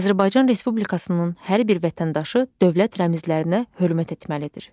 Azərbaycan Respublikasının hər bir vətəndaşı dövlət rəmzlərinə hörmət etməlidir.